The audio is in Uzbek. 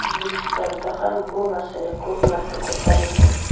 O‘zbekistonda ham bu masala ko‘p marta ko‘tarildi.